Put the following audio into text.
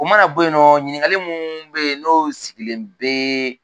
O mana bon yen nɔ ɲininka mun be ye nɔ n'o sigilen bee